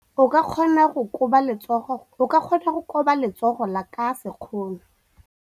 O ka kgona go koba letsogo ka sekgono.